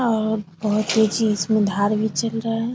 और बहुत सी चीज में उधार भी चल रहा है ।